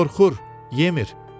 Qorxur, yemir.